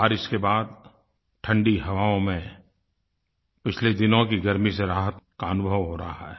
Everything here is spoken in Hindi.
बारिश के बाद ठण्डी हवाओं में पिछले दिनों की गर्मी से राहत का अनुभव रहा है